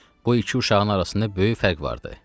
Bu iki uşağın arasında böyük fərq vardı.